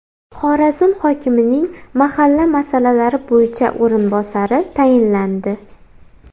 Xorazm hokimining mahalla masalalari bo‘yicha o‘rinbosari tayinlandi.